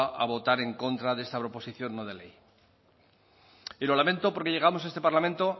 a votar en contra de esta proposición no de ley y lo lamento porque llegamos a este parlamento